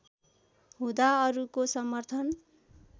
हुँदा अरुको समर्थन